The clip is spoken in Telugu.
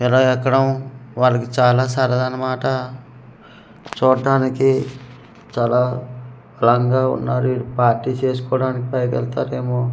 ఇలా ఎక్కడం వాళ్ళకి చాల సరదా అనమాట చూట్టానికి చాల రాంగ్ గా వున్నారు పార్టీ చేసుకోడానికి పైకెళ్తారేమో.